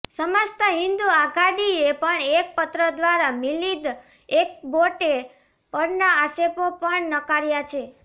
સમસ્ત હિંદુ આઘાડીએ પણ એક પત્રક દ્વારા મિલિંદ એકબોટે પરના આક્ષેપો પણ નકાર્યા છે